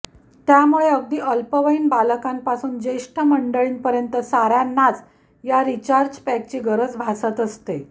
त्यामुळे अगदी अल्पवयीन बालकांपासून ज्येष्ठ मंडळींपर्यंत साऱयांनाच या रिचार्जपॅकची गरज भासत असते